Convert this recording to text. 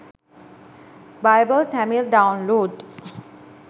bible tamil download